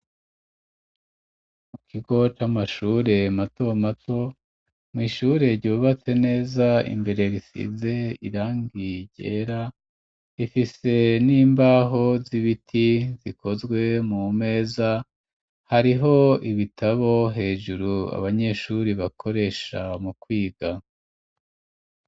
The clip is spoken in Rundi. Mu kigo c'amashure mato mato, mw’ishure ryubatse neza imbere bisize irangi ryera ifise n'imbaho z'ibiti zikozwe mu meza hariho ibitabo hejuru abanyeshuri bakoresha mu kwiga.